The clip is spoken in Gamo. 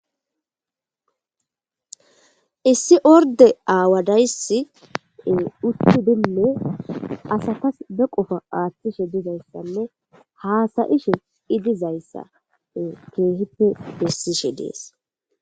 Issi orde awadaysi utidine asatas be qofa atishe dizaysane hasa'she dizaysa kehipe bisishe de'es